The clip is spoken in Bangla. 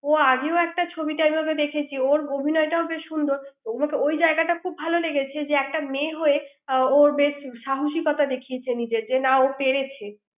ও আগে একটা ছবি তা দেখেছি ওর অভিনয় টাও বেশ সুন্দর ওই জায়গাটা খুব ভালো লেগেছে যে একটা মেয়ে হয়ে ও বেশ সাহসিকতার দেখিয়েছে যে না ও পেরেছে।